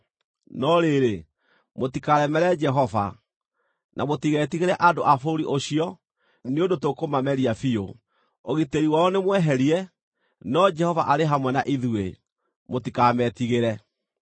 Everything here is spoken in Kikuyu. No rĩrĩ, mũtikaremere Jehova. Na mũtigetigĩre andũ a bũrũri ũcio, nĩ ũndũ tũkũmameria biũ. Ũgitĩri wao nĩ mweherie, no Jehova arĩ hamwe na ithuĩ. Mũtikametigĩre.”